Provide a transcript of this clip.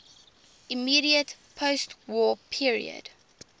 immediate postwar period